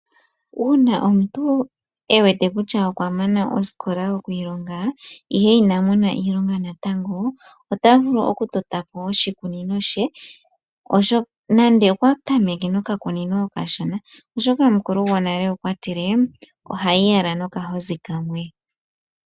Uuna omuntu ewete kutya okwamana osikola okwiilonga ihe inamona iilonga natango, ota vulu okutota po oshikunino she, nande okwa tameke okakunino okashona oshoka omukulu gonale okwa tile, ohayi yala nokahozi kamwe.